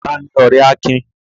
Ta ni ọ̀rẹ́ Akin?